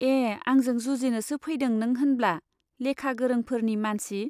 ए , आंजों जुजिनोसो फैदों नों होनब्ला ? लेखा गोरोंफोरनि , मानसि